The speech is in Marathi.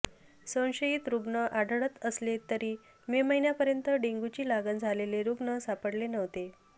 संशयित रूग्ण आढळत असले तरी मे महिन्यापर्यंत डेंग्यूची लागण झालेले रूग्ण सापडले नव्हते